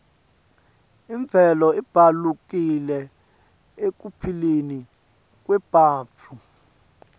imvelo ibalulekile ekuphileni kwebantfu